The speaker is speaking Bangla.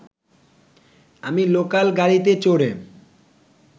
আমি লোকাল গাড়িতে চড়ে